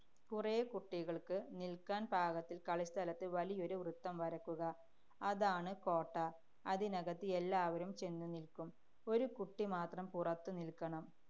കുറേ കുട്ടികള്‍ക്ക് നില്‍ക്കാന്‍ പാകത്തില്‍ കളിസ്ഥലത്ത് വലിയൊരു വൃത്തം വരയ്ക്കുക. അതാണ് കോട്ട. അതിനകത്ത് എല്ലാവരും ചെന്നു നില്ക്കും. ഒരു കുട്ടി മാത്രം പുറത്ത് നില്ക്കണം.